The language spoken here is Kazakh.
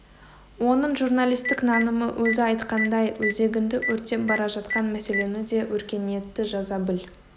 оның журналистік нанымы өзі айтқандай өзегіңді өртеп бара жатқан мәселені де өркениетті жаза біл